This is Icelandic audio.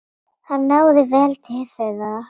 Hann náði vel til þeirra.